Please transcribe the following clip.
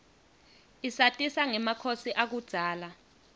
isatisa ngemakhosi akudzala